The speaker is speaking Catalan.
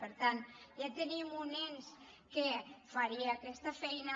per tant ja tenim un ens que faria aquesta feina